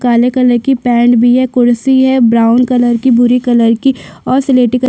काले कलर की पेण्ट भी है कुर्सी है ब्राउन कलर की भूरी कलर की और सिलेटी कलर --